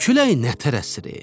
Küləyi nətər əsdi?